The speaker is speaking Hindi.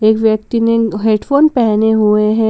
एक व्यक्ति ने हेडफोन पहने हुए हैं।